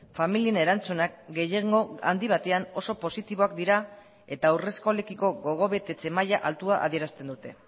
familien erantzunak gehiengo handi batean oso positiboak dira eta haurreskolekiko gogobetetze maila altua adierazten dute